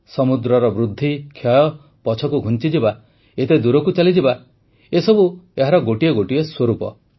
ସମୁଦ୍ରର ବୃଦ୍ଧି କ୍ଷୟ ପଛକୁ ଘୁଞ୍ଚିଯିବା ଏତେ ଦୂରକୁ ଚାଲିଯିବା ଏସବୁ ଏହାର ଗୋଟିଏ ଗୋଟିଏ ସ୍ୱରୂପ